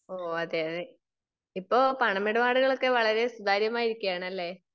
ഓ, അതെയതെ. ഇപ്പൊ പണമിടപാടുകൾ ഒക്കെ വളരേ സുതാര്യമായിരിക്കയാണല്ലേ?